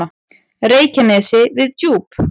Reykjanesi við Djúp.